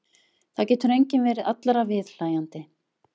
Það getur enginn verið allra viðhlæjandi.